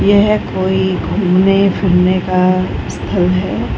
यह कोई घूमने-फिरने का स्थल है।